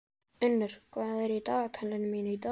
Unnur, hvað er í dagatalinu mínu í dag?